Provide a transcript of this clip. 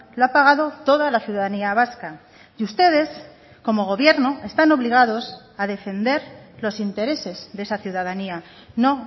lo ha pagado toda la ciudadanía vasca y ustedes como gobierno están obligados a defender los intereses de esa ciudadanía no